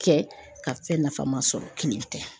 Kɛ ka fɛn nafama sɔrɔ kini tɛ.